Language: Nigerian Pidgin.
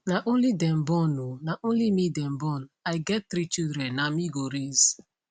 na only dem born oh na only me dem born i get three children na me go raise